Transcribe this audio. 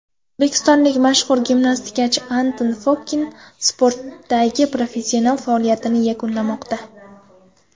O‘zbekistonlik mashhur gimnastikachi Anton Fokin sportdagi professional faoliyatini yakunlamoqda.